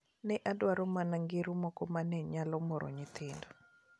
Ne adwaro mana ngero moko ma ne nyalo moro nyithindo.